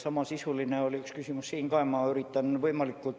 Samasisuline jah üks küsimus juba oli.